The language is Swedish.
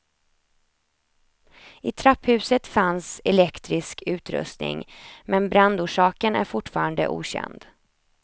I trapphuset fanns elektrisk utrustning, men brandorsaken är fortfarande okänd.